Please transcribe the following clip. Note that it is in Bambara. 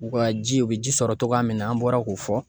U ka ji u be ji sɔrɔ togoya min na, an bɔra k'o fɔ